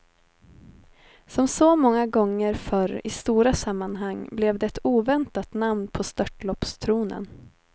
Som så många gånger förr i stora sammanhang blev det ett oväntat namn på störtloppstronen.